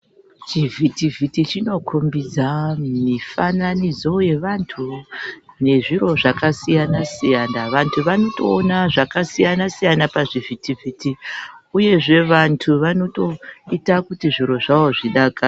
Chivhiti vhiti chinokombidze vantu mifananidzo yevantu nezviro zvakasiyana siyana. Vantu vanotoona zvakasiyana siyana pazvivhiti-vhiti uyezve vantu vanotoita kuti zviro zvavo zvidakadze.